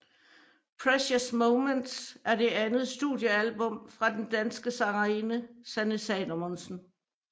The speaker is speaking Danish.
Precious Moments er det andet studiealbum fra den danske sangerinde Sanne Salomonsen